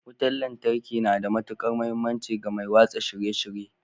Wutar lantarki na da matukar muhimmanci ga mai watsa shirye-shirye